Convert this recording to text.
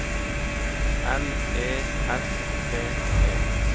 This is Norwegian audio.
L E S T E